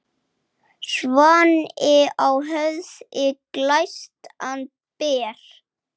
Svanni á höfði glæstan ber.